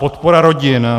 Podpora rodin.